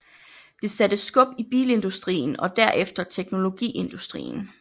Det satte skub i bilindustrien og derefter teknologiindustrien